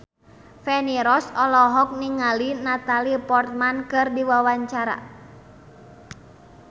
Feni Rose olohok ningali Natalie Portman keur diwawancara